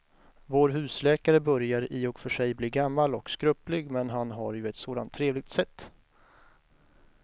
Vår husläkare börjar i och för sig bli gammal och skröplig, men han har ju ett sådant trevligt sätt!